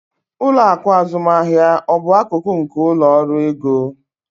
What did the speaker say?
Ụlọ akụ azụmaahịa ọ bụ akụkụ nke ụlọ ọrụ ego?